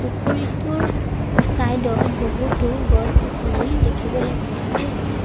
পুখুৰীটোৰ চাইড ত বহুতো গছ-গছনি দেখিবলৈ পোৱা গৈছে।